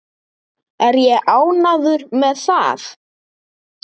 Er ég ánægður með það?